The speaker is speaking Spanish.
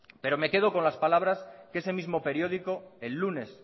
pero me quedo con las palabras que ese mismo periódico el lunes